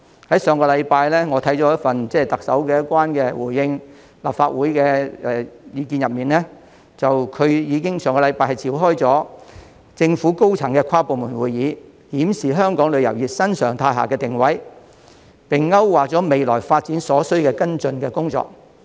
在上星期，我看到特首有關回應立法會質詢的意見中，表示在上星期已經召開政府高層的跨部門會議，檢視香港旅遊業在新常態下的定位，並勾畫了未來發展所需的跟進工作。